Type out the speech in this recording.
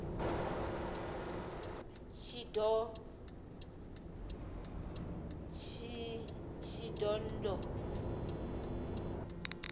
shidondho